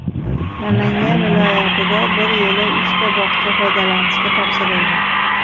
Namangan viloyatida bir yo‘la uchta bog‘cha foydalanishga topshirildi.